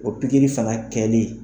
O pikiri fana kɛli